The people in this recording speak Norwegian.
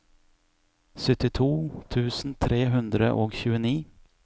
syttito tusen tre hundre og tjueni